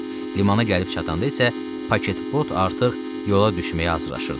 Limana gəlib çatanda isə paketbot artıq yola düşməyə hazırllaşırdı.